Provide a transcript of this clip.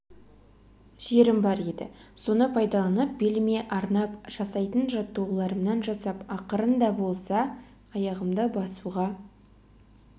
жерім бар еді соны пайдаланып беліме арнап жастайтын жаттығуларымнан жасап ақырын да болса аяғымды басуға